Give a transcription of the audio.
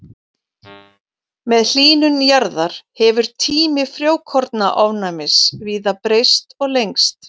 Með hlýnun jarðar hefur tími frjókornaofnæmis víða breyst og lengst.